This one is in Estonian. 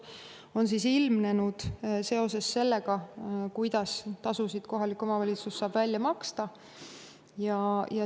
on ilmnenud seoses sellega, kuidas saab kohalik omavalitsus tasusid välja maksta.